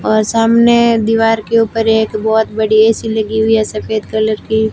और सामने दीवार के ऊपर एक बहोत बड़ी ए_सी लगी हुई हैं सफेद कलर की।